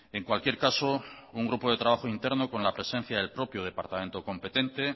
en cualquier caso un grupo de trabajo interno con la presencia del propio departamento competente